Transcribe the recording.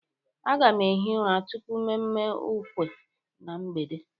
Aga m ehi Ura tupu mmemme ukwe na mgbede